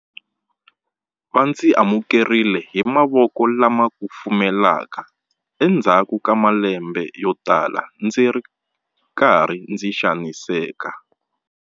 "Va ndzi amukerile hi mavoko lama kufumelaka endzhaku ka malembe yo tala ndzi ri karhi ndzi xaniseka".